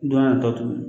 Don nataw